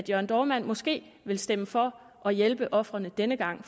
jørn dohrmann måske vil stemme for og hjælpe ofrene denne gang